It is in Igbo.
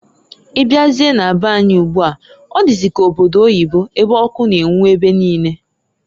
Ị bịazie na be anyị ugbua ọ dịzị ka obodo oyibo ebe ọkụ na-enwu ebe niine.